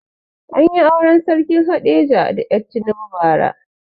Anyi auren sarkin haɗeja da er tinubu ba ra